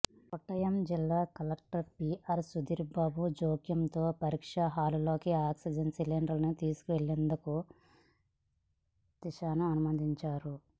కొట్టాయం జిల్లా collector P R Sudheer Babu జోక్యంతో పరీక్ష హాలులోకి ఆక్సిజన్ సిలిండర్ను తీసుకెళ్ళేందుకు లతీషాను అనుమతించారు